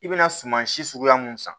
I bɛna suma si suguya mun san